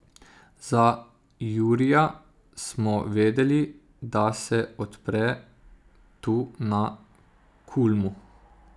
Za Jurija smo vedeli, da se odpre tu na Kulmu.